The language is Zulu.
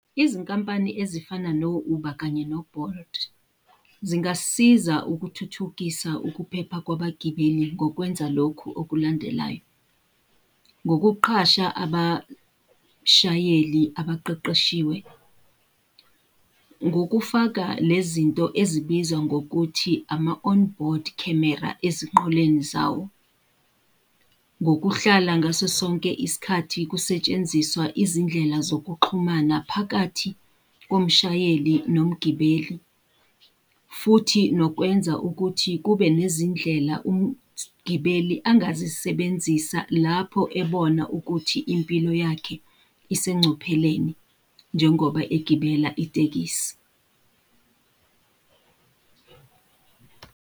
Izinkampani ezifana no-Uber kanye no-Bolt, zingasisiza ukuthuthukisa ukuphepha kwabagibeli ngokwenza lokhu okulandelayo. Ngokuqasha abashayeli abaqeqeshiwe. Ngokufaka le zinto ezibizwa ngokuthi ama-onboard camera ezinqoleni zawo. Ngokuhlala ngaso sonke isikhathi kusetshenziswa izindlela zokuxhumana phakathi komshayeli nomgibeli. Futhi nokwenza ukuthi kube nezindlela umgibeli angazisebenzisa lapho ebona ukuthi impilo yakhe isengcupheleni njengoba egibela itekisi.